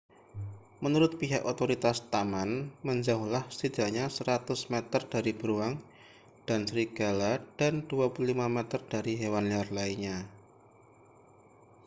menurut pihak otoritas taman menjauhlah setidaknya 100 meter dari beruang dan serigala dan 25 meter dari hewan liar lainnya